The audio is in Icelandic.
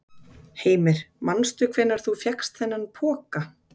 Heimir: Manstu hvenær þú fékkst þennan poka?